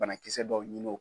Banakisɛ dɔw ɲini